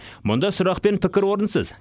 мұнда сұрақ пен пікір орынсыз